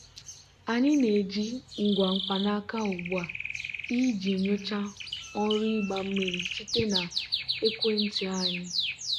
anyị na-eji ngwa mkpanaka ugbu a iji nyochaa ọrụ ịgba mmiri site na ekwentị anyị.